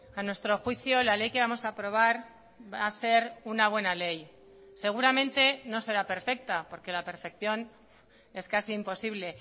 a nuestro juicio la ley que vamos a aprobar va a ser una buena ley seguramente no será perfecta porque la perfección es casi imposible